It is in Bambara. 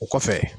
O kɔfɛ